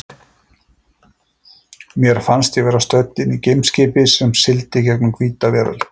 Mér fannst ég vera stödd inni í geimskipi sem sigldi í gegnum hvíta veröld.